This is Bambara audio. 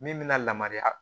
Min bɛna lamariya